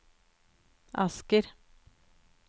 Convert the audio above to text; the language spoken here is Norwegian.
Asker